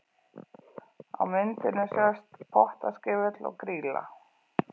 Á myndinni sjást Pottaskefill og Grýla.